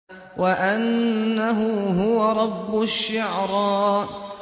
وَأَنَّهُ هُوَ رَبُّ الشِّعْرَىٰ